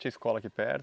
Tinha escola aqui perto?